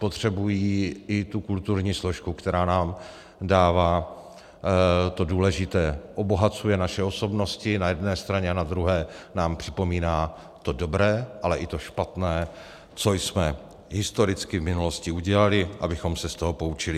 Potřebují i tu kulturní složku, která nám dává to důležité, obohacuje naše osobnosti na jedné straně a na druhé nám připomíná to dobré, ale i to špatné, co jsme historicky v minulosti udělali, abychom se z toho poučili.